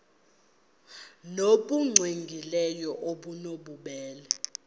nbu cwengileyo obunobubele